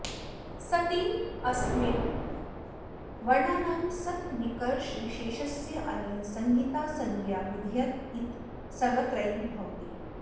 सति ह्रस्मिन् वर्णानां सन्निकर्षविशेषस्यानेन संहितासंज्ञा विधीयत इत सर्वत्रैव भवति